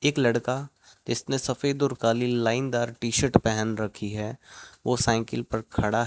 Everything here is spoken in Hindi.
एक लड़का जीसने सफेद और काली लाइनदार टी शर्ट पहन रखी है वो ओ साइकल पर खड़ा --